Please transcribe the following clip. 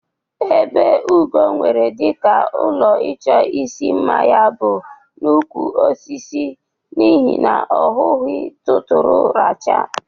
Ebe Ugo nwere dịka ụlọ ịchọ isi mma ya bụ n'ukwu osisi n'ihi na ọ hughi tụtụrụ racha.